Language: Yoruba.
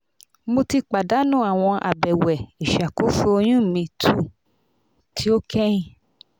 mo ti padanu awọn abẹwẹ iṣakoso oyun mi 2 ti o kẹhin